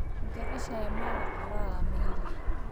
Ma jeceshahay maraq khudrad ama hilib?